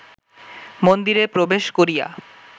মন্দিরে প্রবেশ করিয়া